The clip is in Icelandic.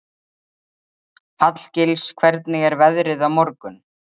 Hallgils, hvernig er veðrið á morgun?